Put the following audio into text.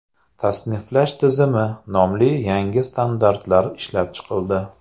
Tasniflash tizimi” nomli yangi standartlar ishlab chiqildi.